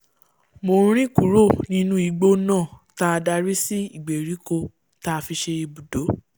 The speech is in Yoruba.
mọ́nrìn kúrò nínú igbó náà táa darí sí ìgbèríko táa fi ṣe ibùdó